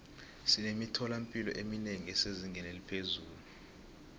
sinemithola mpilo eminengi esezingeni eliphezulu